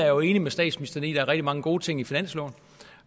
jo enig med statsministeren i at der er rigtig mange gode ting i finansloven